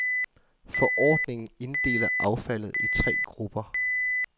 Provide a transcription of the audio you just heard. Forordningen inddeler affaldet i tre grupper.